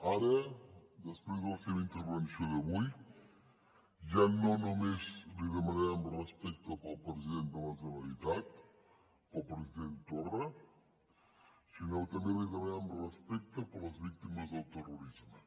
ara després de la seva intervenció d’avui ja no només li demanarem respecte pel president de la generalitat pel president torra sinó que també li demanarem respecte per les víctimes del terrorisme